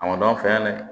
A ma fɛ yan dɛ